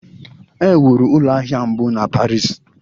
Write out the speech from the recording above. E wuru ụlọ ahịa mbụ na Paris.